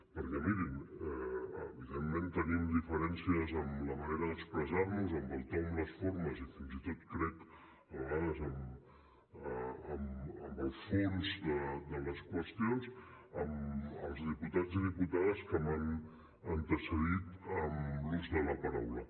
perquè mirin evidentment tenim diferències en la manera d’expressar nos en el to en les formes i fins i tot ho crec a vegades en el fons de les qüestions els diputats i diputades que m’han antecedit en l’ús de la paraula